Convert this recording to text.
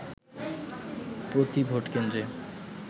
প্রতি ভোটকেন্দ্রে